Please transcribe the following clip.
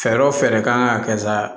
Fɛɛrɛ kan ka kɛ sa